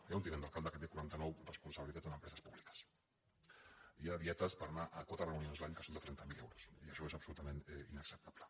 hi ha un tinent d’alcalde que té quaranta·nou responsabilitats en em·preses públiques hi ha dietes per anar a quatre reuni·ons l’any que són de trenta mil euros i això és absolu·tament inacceptable